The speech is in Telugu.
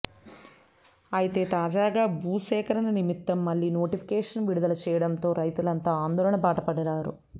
అయితే తాజాగా భూసేకరణ నిమిత్తం మళ్లీ నోటిఫికేషన్ విడుదల చేయడంతో రైతులంతా ఆందోళన బాట పట్టారు